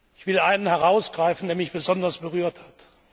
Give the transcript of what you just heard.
Ich will einen herausgreifen, der mich besonders berührt hat.